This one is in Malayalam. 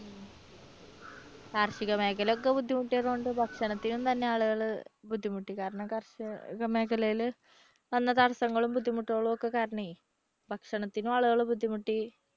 കാർഷിക മേഖല ഒക്കെ ബുദ്ധിമുട്ടിയതുകൊണ്ട് ഭക്ഷണത്തിന് തന്നെ ആളുകള് ബുദ്ധിമുട്ടി കാരണം കാർഷിക മേഖലയില് വന്ന തടസ്സങ്ങളും ബുദ്ധിമുട്ടുകളും ഒക്കെ കാരണമേ ഭണത്തിന് ആളുകൾ ബുദ്ധിമുട്ടി.